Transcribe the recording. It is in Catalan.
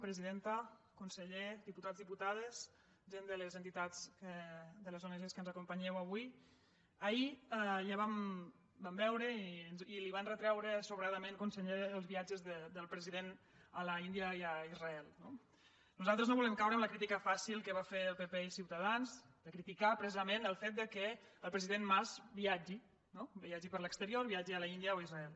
presidenta conseller diputats diputades gent de les entitats de les ong que ens acompanyeu avui ahir ja vam veure i els hi van retreure sobradament conseller els viatges del president a l’índia i a israel no nosaltres no volem caure en la crítica fàcil que van fer el pp i ciutadans de criticar precisament el fet que el president mas viatgi no viatgi per l’exterior viatgi a l’índia o a israel